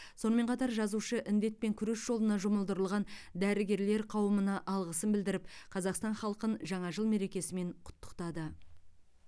сонымен қатар жазушы індетпен күрес жолына жұмылдырылған дәрігерлер қаумына алғысын білдіріп қазақстан халқын жаңа жыл мерекесімен құттықтады